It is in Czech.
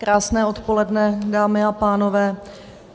Krásné odpoledne, dámy a pánové.